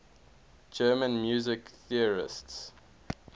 german music theorists